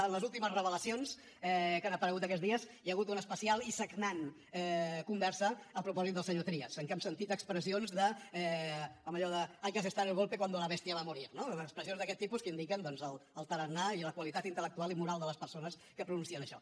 en les últimes revelacions que han aparegut aquests dies hi ha hagut una especial i sagnant conversa a propòsit del senyor trias en què hem sentit expressions com allò de hay que asestar el golpe cuando la bestia va a morir no expressions d’aquest tipus que indiquen doncs el tarannà i la qualitat intel·lectual i moral de les persones que pronuncien això